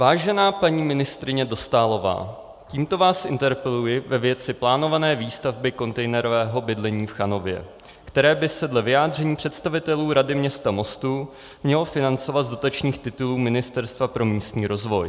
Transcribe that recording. Vážená paní ministryně Dostálová, tímto vás interpeluji ve věci plánované výstavby kontejnerového bydlení v Chanově, které by se dle vyjádření představitelů Rady města Mostu mělo financovat z dotačních titulů Ministerstva pro místní rozvoj.